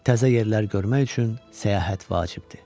Təzə yerlər görmək üçün səyahət vacibdir.